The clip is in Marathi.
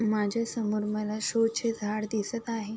माझ्यासमोर मला शो चे झाड दिसत आहे.